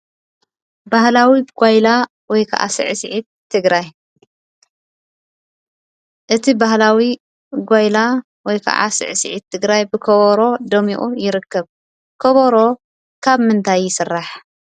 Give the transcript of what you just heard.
ባህላዊ ጎይላ ወይ ከዓ ስዕሲዒት ትግራይ፡- እቲ ባህላዊ ጎይላ ወይ ከዓ ስዕስዒት ትግራይ ብከበሮ ደሚቁ ይርከብ፡፡ ከበሮ ካብ ምንታይ ይስራሕ?